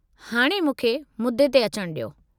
हाणे मूंखे मुद्दे ते अचनि डि॒यो।